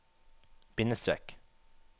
bindestrek